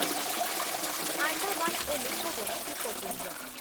ଆଣ୍ଡାମାନ୍ ଓ ନିକୋବର ଦ୍ବୀପପୁଞ୍ଜ